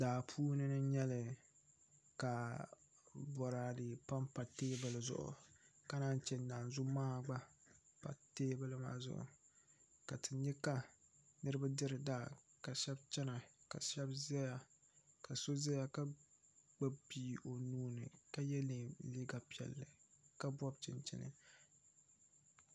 Daa puuni n nyɛlika Boraadɛ panpa teebuli zuɣu ka naan chɛ naanzu maha gba pa teebuli maa zuɣu ka ti nyɛ ka niraba diri daa ka shab chɛna ka shab ʒɛya ka so ʒɛya ka gbubi bia o nuuni ka yɛ liiga piɛlli ka bob chinchini